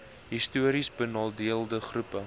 histories benadeelde groepe